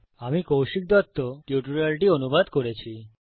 আমি কৌশিক দত্ত টিউটোরিয়ালটি অনুবাদ করেছি